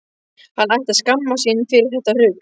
Hann ætti að skammast sín fyrir þetta rugl!